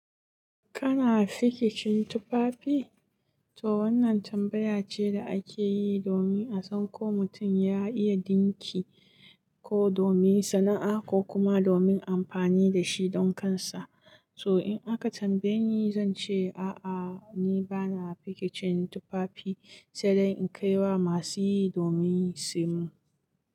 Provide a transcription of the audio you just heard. Kana fiki cin tufafi? To wannan tambaya ce da ake yi domin a san ko mutum ya iya dinki ko domin sana'a ko kuma domin amfani da shi don kansa. To in aka tambaye ni, zan ce a'a, ni bana fiki cin tufafi, sai dai in kai wa masu yi domin su yi.